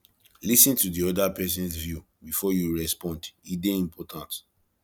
lis ten to the other persons view before you respond e dey important